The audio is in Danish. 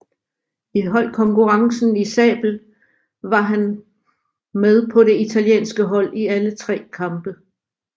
I holdkonkurrencen i sabel var han med på det italienske hold i alle tre kampe